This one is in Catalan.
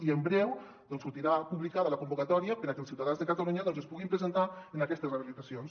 i en breu sortirà publicada la convocatòria perquè els ciutadans de catalunya es puguin presentar en aquestes rehabilitacions